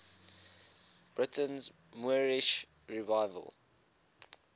britain's moorish revival